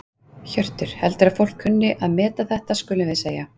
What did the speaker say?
Hjörtur: Heldurðu að fólk kunni að meta þetta skulum við segja?